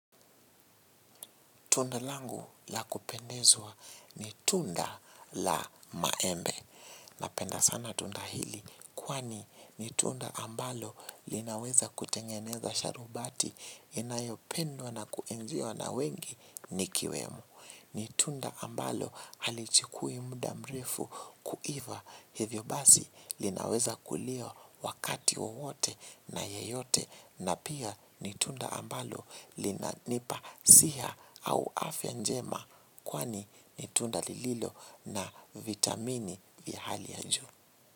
Tunda langu la kupendezwa ni tunda la maembe. Napenda sana tunda hili. Kwani ni tunda ambalo linaweza kutengeneza sharubati inayopendwa na kuenziwa na wengi nikiwemo. Ni tunda ambalo halichukui muda mrefu kuiva hivyo basi linaweza kuliwa wakati wowote na yeyote. Na pia ni tunda ambalo linanipa siha au afya njema kwani ni tunda lililo na vitamini vya hali ya juu.